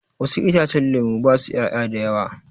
Wasu itacen lemu basu 'ya'ya a da yawa.